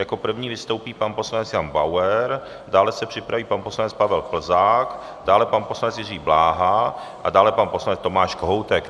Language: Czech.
Jako první vystoupí pan poslanec Jan Bauer, dále se připraví pan poslanec Pavel Plzák, dále pan poslanec Jiří Bláha a dále pan poslanec Tomáš Kohoutek.